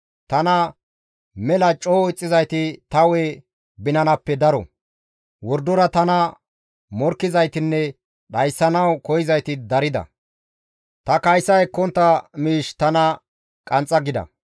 Tana mela coo ixxizayti ta hu7e binanappe daro. Wordora tana morkkizaytinne tana dhayssanawu koyzayti darida. Ta kaysa ekkontta miish tana qanxxa gida.